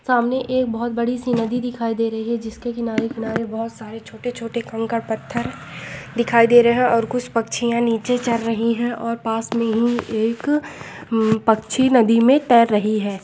सामने एक बहुत बड़ी सी नदी दिखाई दे रही है जिससे किनारे किनारे बहुत सारे छोटे छोटे कंकड़ पत्थर दिखाई दे रहे हैं और कुछ पक्षी या नीचे चल रही है और पास में ही एक पक्षी नदी में तैर रही है।